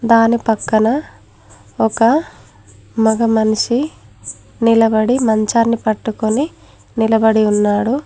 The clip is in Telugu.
దాని పక్కన ఒక మగ మనిషి నిలబడి మంచాన్ని పట్టుకొని నిలబడి ఉన్నాడు.